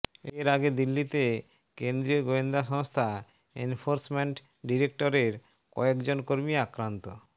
এর আগে দিল্লিতে কেন্দ্রীয় গোয়েন্দা সংস্থা এনফোর্সমেন্ট ডিরেক্টরেটের কয়েক জন কর্মী আক্রান্ত